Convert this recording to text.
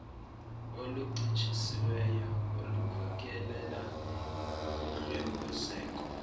oluncitshisiweyo olukhokelela kuhlwempuzeko